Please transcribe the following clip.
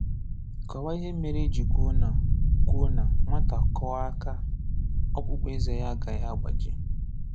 Kọwaa ihe mere eji kwuo na kwuo na Nwata kụọ aka ọkpụkpọ eze ya agaghi agbaji